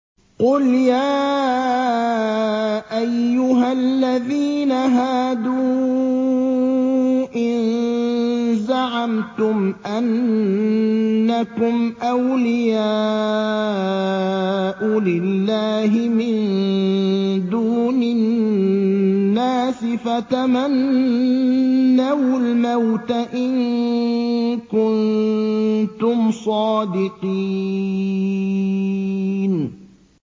قُلْ يَا أَيُّهَا الَّذِينَ هَادُوا إِن زَعَمْتُمْ أَنَّكُمْ أَوْلِيَاءُ لِلَّهِ مِن دُونِ النَّاسِ فَتَمَنَّوُا الْمَوْتَ إِن كُنتُمْ صَادِقِينَ